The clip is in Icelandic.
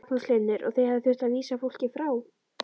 Magnús Hlynur: Og þið hafið þurft að vísa fólki frá?